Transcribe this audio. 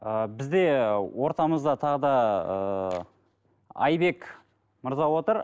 ы бізде ортамызда тағы да ыыы айбек мырза отыр